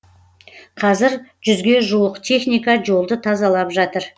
қазір жүзге жуық техника жолды тазалап жатыр